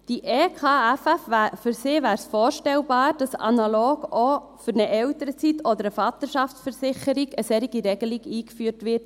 Für die EKFF wäre es vorstellbar, dass analog auch für eine Elternzeit oder eine Vaterschaftsversicherung auf nationaler Ebene eine solche Regelung eingeführt wird.